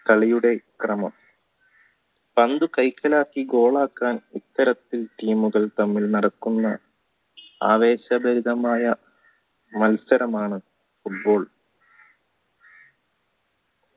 കളിയുടെ ക്രമം പന്ത് കൈക്കലാക്കി goal ആക്കാൻ ഇത്തരത്തിൽ team മുകൾ തമ്മിൽ നടക്കുന്ന ആവേശകരമായ മത്സരമാണ് football